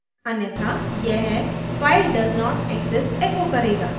अन्यथा यह file does not exist echo करेगा